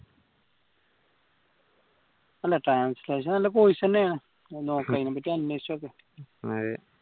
അല്ല translation നല്ല course ന്നെയാണ് നോക്ക് അതിനെപ്പറ്റി അന്വേഷിച്ചു നോക്ക്